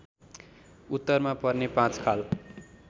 उत्तरमा पर्ने पाँचखाल